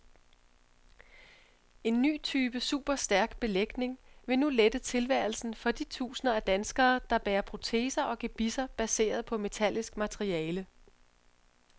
En ny type superstærk belægning vil nu lette tilværelsen for de tusinder af danskere, der bærer proteser og gebisser baseret på metallisk materiale.